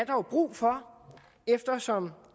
jo brug for eftersom